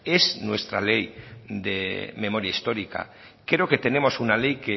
es nuestra ley de memoria histórica creo que tenemos una ley